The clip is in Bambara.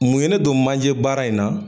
Mun ye ne don manje baara in na?